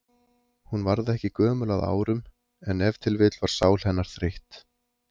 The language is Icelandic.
Hún varð ekki gömul að árum, en ef til vill var sál hennar þreytt.